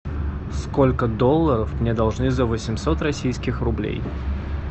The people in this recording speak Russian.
сколько долларов мне должны за восемьсот российских рублей